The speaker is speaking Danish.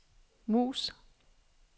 mus